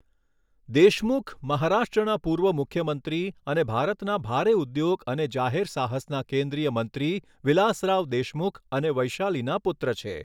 દેશમુખ મહારાષ્ટ્રના પૂર્વ મુખ્યમંત્રી અને ભારતના ભારે ઉદ્યોગ અને જાહેર સાહસના કેન્દ્રીય મંત્રી વિલાસરાવ દેશમુખ અને વૈશાલીના પુત્ર છે.